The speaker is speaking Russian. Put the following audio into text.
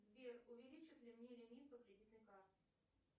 сбер увеличат ли мне лимит по кредитной карте